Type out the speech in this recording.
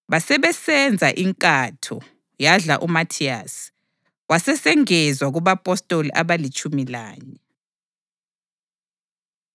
Basebesenza inkatho, yadla uMathiyasi, wasesengezwa kubapostoli abalitshumi lanye.